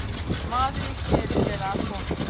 Maðurinn sneri sér að honum.